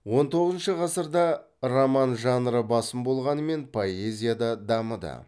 он тоғызыншы ғасырда роман жанры басым болғанымен поэзия да дамыды